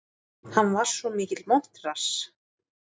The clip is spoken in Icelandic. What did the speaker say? Hann var svo mikill montrass.